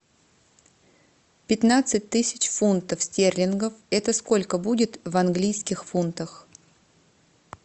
пятнадцать тысяч фунтов стерлингов это сколько будет в английских фунтах